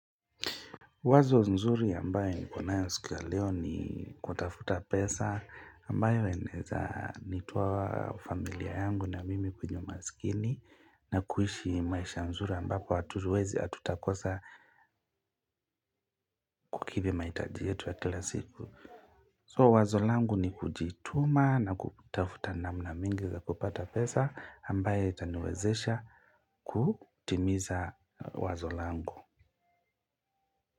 Wazo nzuri ambayo nikonayo siku ya leo ni kutafuta pesa ambayo inaweza nitoa familia yangu na mimi kwenye umasikini na kuishi maisha mazuri ambapo hatuwezi hatutakosa kukidhi mahitaji yetu ya kila siku. So wazo langu ni kujituma na kutafuta namna mingi za kupata pesa ambayo itaniwezesha kutimiza wazo langu.